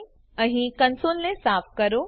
અહીં કંસોલને સાફ કરો